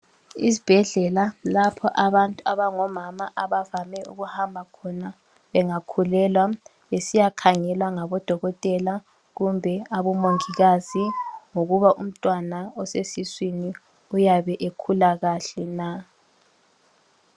Isibhedlela lapha abantu abangomama abavame ukuhamba khona bengakhulelwa besiya khangelwa ngabodokotela kumbe abomongikazi, ngokuba umntwana osesiswini uyabe ekhula kahle na.